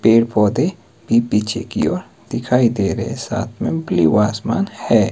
पेड़ पौधे भी पीछे की ओर दिखाई दे रहे साथ में ब्लू आसमान है।